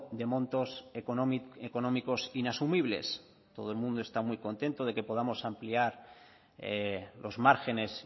de montos económicos inasumibles todo el mundo está muy contento de que podamos ampliar los márgenes